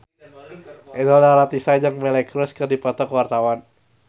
Inul Daratista jeung Miley Cyrus keur dipoto ku wartawan